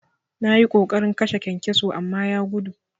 Nayi ƙoƙarin kashe kyankyaso amma ya gudu.